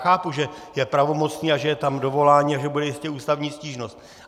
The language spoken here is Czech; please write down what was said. Chápu, že je pravomocný a že tam je dovolání a že bude jistě ústavní stížnost.